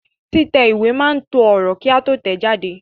Títẹ̀ ìwé máa to ọ̀rọ̀ kí a tó tẹ̀ẹ́ jáde